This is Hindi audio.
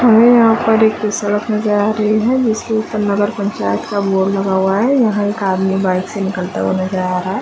हमे यहाँ पर एक सड़क नजर आ रही है जिसके ऊपर नगर पंचायत का बोर्ड लगा हुआ है यहाँ एक आदमी बाइक से निकलता नजर आ रहा है।